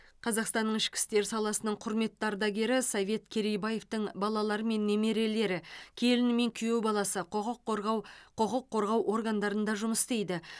қазақстанның ішкі істер саласының құрметті ардагері совет керейбаевтың балалары мен немерелері келіні мен күйеу баласы құқық қорғау құқық қорғау органдарында жұмыс істейді